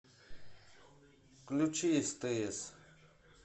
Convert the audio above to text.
включи стс